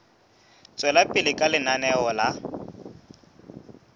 tswela pele ka lenaneo la